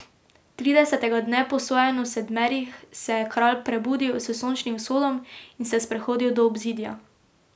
Tridesetega dne po sojenju Sedmerih se je kralj prebudil s sončnim vzhodom in se sprehodil do obzidja.